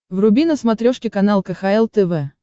вруби на смотрешке канал кхл тв